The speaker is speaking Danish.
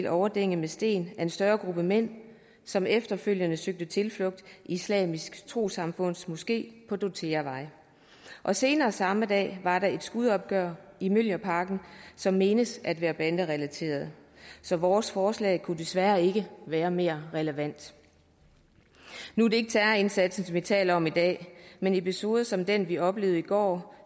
overdænget med sten af en større gruppe mænd som efterfølgende søgte tilflugt i islamisk trossamfunds moské på dortheavej og senere samme dag var der et skudopgør i mjølnerparken som menes at være banderelateret så vores forslag kunne desværre ikke være mere relevant nu er det ikke terrorindsatsen vi taler om i dag men episoder som dem vi oplevede i går